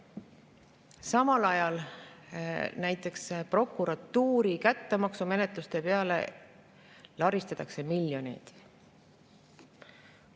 Samal ajal laristatakse näiteks prokuratuuri kättemaksumenetluste peale miljoneid.